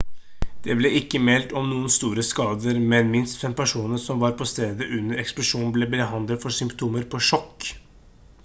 det ble ikke meldt om noen store skader men minst fem personer som var på stedet under eksplosjonen ble behandlet for symptomer på sjokk